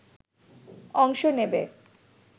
অংশ নেবে